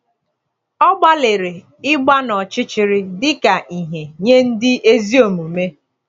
“Ọ gbalịrị ịgba n’ọchịchịrị dị ka ìhè nye ndị ezi omume.”